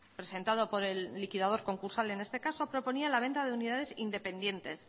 presentado por el liquidador concursal en este caso la venta de unidades independientes